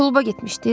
Kluba getmişdiz?